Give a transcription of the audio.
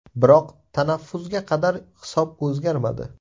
Biroq tanaffusga qadar hisob o‘zgarmadi.